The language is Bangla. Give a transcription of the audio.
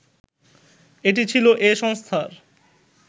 এটি ছিল এ সংস্থার